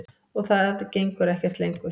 Og það gengur ekkert lengur.